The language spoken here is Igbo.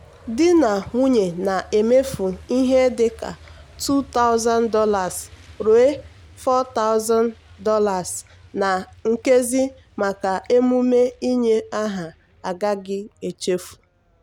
di na nwunye na-emefu ihe dị ka $2000 ruo $4000 na nkezi maka emume inye aha agaghị echefu.